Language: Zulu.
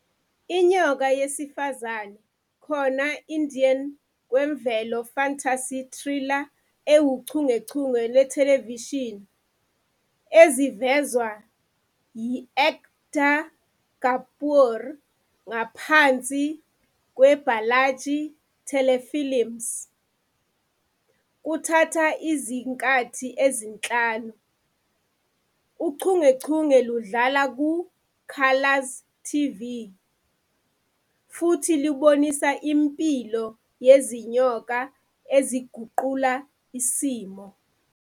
Inyoka yesifazane, khona-Indian kwemvelo fantasy Thriller ewuchungechunge yethelevishini ezivezwa Ekta Kapoor ngaphansi Balaji Telefilms. Kuthatha izinkathi ezinhlanu, uchungechunge ludlala ku- Colors TV futhi lubonisa impilo yezinyoka eziguqula isimo.